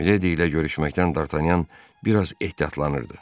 Mileydi ilə görüşməkdən Dartanyan biraz ehtiyatlanırdı.